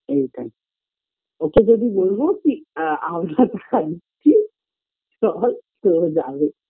এইটাই ওকে যদি বলবো কি আ আমরা যাচ্ছি চল তো ও যাবে